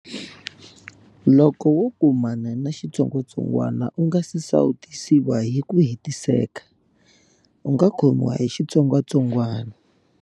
Loko wo kumana na xitsongwatsongwana u nga si sawutisiwa hi ku hetiseka, u nga khomiwa hi vuvabyi.